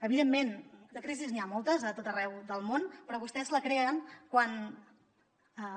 evidentment de crisis n’hi ha moltes a tot arreu del món però vostès la creen quan